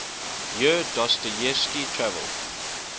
year dostoyevsky traveled